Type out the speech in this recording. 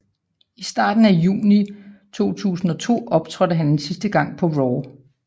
I starten af juni 2002 optrådte han en sidste gang på RAW